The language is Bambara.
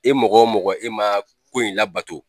E mɔgɔ o mɔgɔ e man ko in labato.